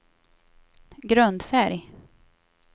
grundfärg